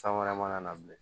San wɛrɛ mana na bilen